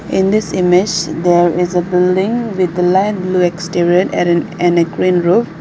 in this image there is a building with light blue exterior at an and a green roof.